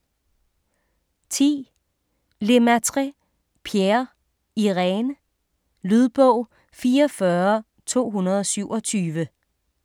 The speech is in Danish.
10. Lemaitre, Pierre: Irène Lydbog 44227